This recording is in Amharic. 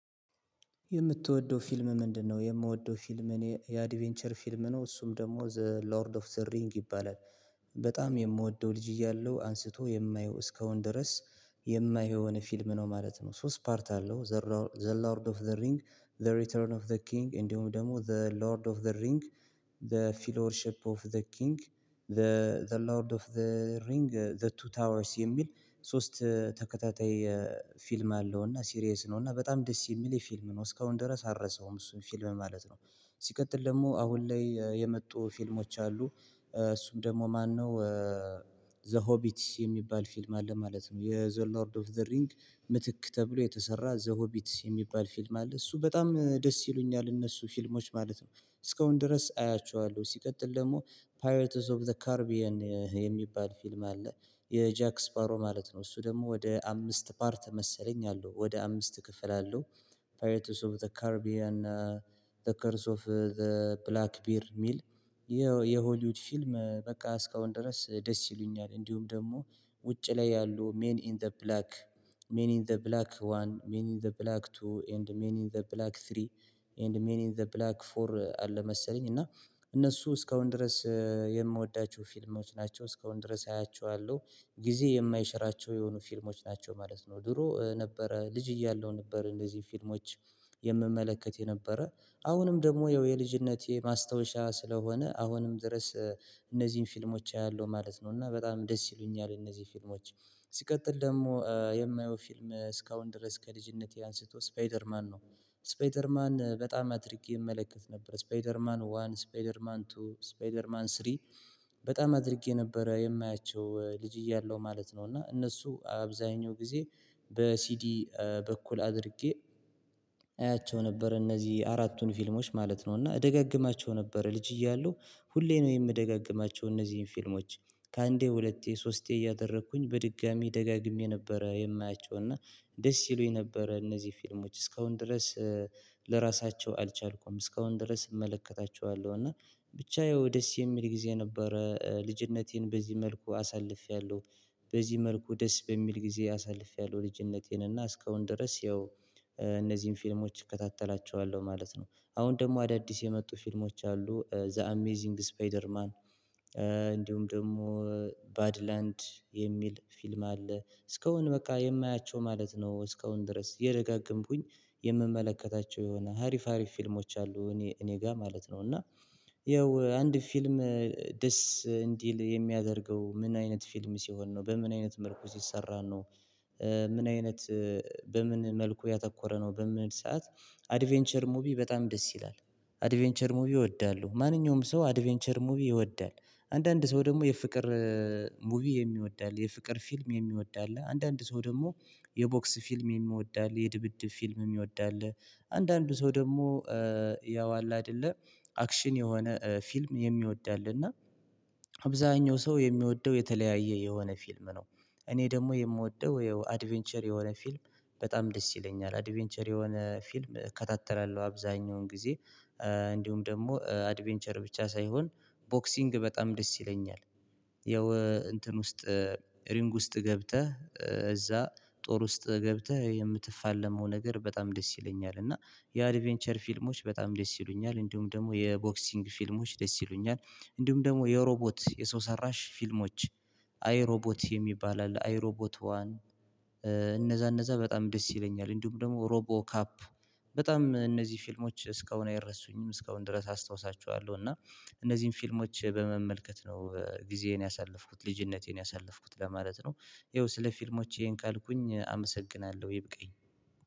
የምትወደው ፊልም ምንድነው? የምወደው ፊልም እኔ የአዲቬንቸር ፊልም ነው እሱም ደሞ ዘ ሎርድ ኦፍ ዘ ሪንግ ይባላል። በጣም የምወደው ልጅ እያለው አንስቶ የማየው እስካሁን ድረስ የማየው የሆነ ፊልም ነው ማለት ነው። ሶስት ፓርት አለው። ዘ ሎርድ ኦፍ ዘ ሪንግ ዘ ሪተርን ኦፍ ዘ ኪንግ እንዲውም ደሞ ዘ ሎርድ ኦፍ ዘ ሪንግ ዘ ፊሎርሽፕ ኦፍ ዘ ኪንግ ዘ ዘ ሎርድ ኦፍ ዘ ሪንግ ዘ ቱ ታወርስ የሚል። ሶስት ተከታታይ ፊልም አለው እና ሲሪየስ ነው እና በጣም ደስ የሚል የፊልም ነው እስካውን ድረስ አረሳውም እሱን ፊልም ማለት ነው። ሲቀጥል ደሞ አሁን ላይ የመጡ ፊልሞች አሉ። እሱም ደሞ ማነው? ዘ ሆቢትስ የሚባል ፊልም አለ ማለት ነው የዘ ሎርድ ኦፍ ዘ ሪንግ ምትክ ተብሎ የተሰራ ዘሆቢትስ የሚባል ፊልም አለ እሱ በጣም ደስ ይሉኛል እነሱ ፊልሞች ማለት ነው። እስካሁን ድረስ አያቸዋለው ሲቀጥል ደሞ። ፓይረትስ ኦፍ ዘ ካርቢየን የሚባል ፊልም አለ። የጃክስፓሮ ማለት ነው እሱ ደሞ ወደ አምስት ፓርት መሰለኝ አለው ወደ አምስት ክፍል አለው። ፓይረትስ ኦፍ ዘ ካርቢያን። ዘ ከርስ ኦፍ ዘ ብላክ ቢር ሚል። የሆሊውድ ፊልም በቃ እስካሁን ድረስ ደስ ይሉኛል እንዲውም ደሞ። ውጪ ላይ ያሉ ሜን ኢን ዘ ብላክ ሜን ኢን ዘ ብላክ ዋን ሜን ኢን ዘ ብላክ ቱ ኤንድ ሜኒን ዘ ብላክ ስሪ። ኤንድ ሚኒን ዘ ብላክ ፎር አለ መሰለኝ እና። እነሱ እስካሁን ድረስ የምወዳቸው ፊልሞች ናቸው እስካሁን ድረስ አያቸዋለው። ጊዜ የማይሽራቸው የሆኑ ፊልሞች ናቸው ማለት ነው። ድሮ ነበረ ልጅ እያለው ነበር እንደዚ ፊልሞች። የምመለከት የነበረ አሁንም ደግሞ ያው የልጅነቴ ማስታወሻ ስለሆነ አሁንም ድረስ። እነዚን ፊልሞች አያለው ማለት ነው እና በጣም ደስ ይሉኛል እነዚ ፊልሞች። ሲቀጥል ደሞ የማየው ፊልም እስካሁን ድረስ ከልጅነቴ አንስቶ ስፓይደርማን ነው። ስፓይደርማን በጣም አድርጌ እመለከት ነበር ስፓይደርማን ዋን ስፓይደርማን ቱ ስፓይደርማን ስሪ። በጣም አድርጌ ነበረ የማያቸው ልጅ እያለው ማለት ነው እና እነሱ አብዛኛው ጊዜ። በሲዲ በኩል አድርጌ። አያቸው ነበር እነዚ አራቱን ፊልሞች ማለት ነው እና እደጋግማቸው ነበር ልጅ እያለው። ሁሌ ነው የምደጋግማቸው እነዚህን ፊልሞች። ከአንዴ ሁለቴ ሶስቴ እያደረኩኝ በድጋሚ ደጋግሜ ነበረ የማያቸው እና። ደስ ይሉኝ ነበረ እነዚ ፊልሞች እስካሁን ድረስ። ልረሳቸው አልቻልኩም እስካሁን ድረስ እመለከታቸዋለው እና። ብቻ ያው ደስ የሚል ጊዜ ነበረ ልጅነቴን በዚ መልኩ አሳልፌያለሁ። በዚህ መልኩ ደስ በሚል ጊዜ አሳልፌያለሁ ልጅነቴን እና እስካሁን ድረስ ያው። እነዚን ፊልሞች እከታተላቸዋለሁ ማለት ነው። አሁን ደሞ አዳዲስ የመጡ ፊልሞች አሉ ዘ አሜዚንግ ስፓይደርማን። እንዲውም ደሞ። ባድላንድ የሚል ፊልም አለ እስካሁን በቃ የማያቸው ማለት ነው። እስካሁን ድረስ እየደጋገምኩኝ። የምመለከታቸው የሆነ ሀሪፍ ሀሪፍ ፊልሞች አሉ እኔ እኔ ጋር ማለት ነው እና። ያው አንድ ፊልም። ደስ እንዲል የሚያደርገው ምን አይነት ፊልም ሲሆን ነው በምን አይነት መልኩ ሲሰራ ነው? ምን አይነት? በምን መልኩ ያተኮረ ነው በምል ሰዓት። አድቬንቸር ሙቪ በጣም ደስ ይላል። አድቬንቸር ሙቪ እወዳለው ማንኛውም ሰው አድቬንቸር ሙቪ ይወዳል። አንዳንድ ሰው ደሞ የፍቅር ሙቪ የሚወድ አለ። የፍቅር ፊልም የሚወድ አለ። አንዳንድ ሰው ደሞ የቦክስ ፊልም የሚወድ አለ የድብድብ ፊልም የሚወድ አለ። አንዳንዱ ሰው ደሞ ያው አለ አደለ። አክሽን የሆነ ፊልም የሚወድ አለ እና። አብዛኛው ሰው የሚወደው የተለያየ የሆነ ፊልም ነው። እኔ ደሞ የምወደው ይኸው አድቬንቸር የሆነ ፊልም። በጣም ደስ ይለኛል አድቬንቸር የሆነ ፊልም እከታተላለው አብዛኛውን ጊዜ። እንዲውም ደሞ አድቬንቸር ብቻ ሳይሆን። ቦክሲንግ በጣም ደስ ይለኛል። ያው እንትን ውስጥ። ሪንግ ውስጥ ገብተህ እዛ ጦር ውስጥ ገብተህ የምትፋለመው ነገር በጣም ደስ ይለኛል። እና የአድቬንቸር ፊልሞች በጣም ደስ ይሉኛል እንዲውም ደሞ የቦክሲንግ ፊልሞች ደስ ይሉኛል። እንዲውም ደግሞ የሮቦት የሰው ሰራሽ ፊልሞች። አይ ሮቦት የሚባል አለ አይሮቦት ዋን። እነዛ እነዛ በጣም ደስ ይለኛል እንዲውምደግሞ ሮቦ ካፕ። በጣም እነዚ ፊልሞች እስካሁን አይረሱኝም እስካሁን ድረስ አስታውሳቸዋለው እና። እነዚህን ፊልሞች በመመልከት ነው ጊዜዬን ያሳለፍኩት ልጅነቴን ያሳለፍኩት ለማለት ነው። ይኸው ስለ ፊልሞቼ ይሄን ካልኩኝ አመሰግናለሁ ይበቃኝ።